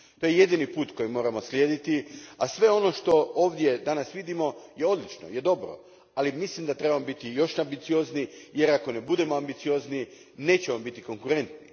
To je jedini put koji moramo slijediti, a sve ono što ovdje danas vidimo je odlično, je dobro, ali mislim da trebamo biti još ambiciozniji, jer ako ne budemo ambiciozniji nećemo biti konkurentni.